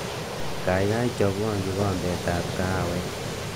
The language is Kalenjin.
Kaikai chobwo kikombetab kahawek